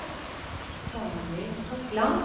Tommy Totland